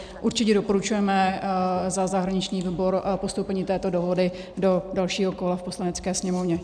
Určitě doporučujeme za zahraniční výbor postoupení této dohody do dalšího kola v Poslanecké sněmovně.